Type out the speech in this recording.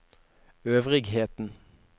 øvrigheten